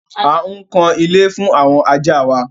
À ń kan ilé fún àwọn ajá wa.